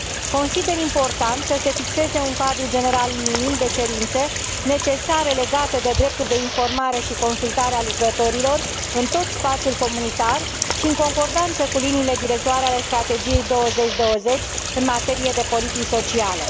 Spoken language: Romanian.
Consider important să se fixeze un cadru general minim de cerințe necesare legate de dreptul de informare și consultare al lucrătorilor în tot spațiul comunitar și în concordanță cu liniile directoare ale Strategiei 2020 în materie de politici sociale.